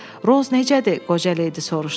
Roz necədir, qoca Leydi soruşdu.